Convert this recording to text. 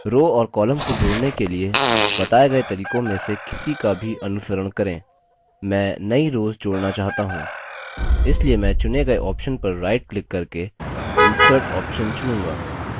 rows और columns को जोड़ने के लिए बताए गए तरीकों में से किसी का भी अनुसरण करें मैं नई रोव्स जोड़ना चाहता choose इसलिए मैं चुनें गए option पर right click करके insert option चुनूँगा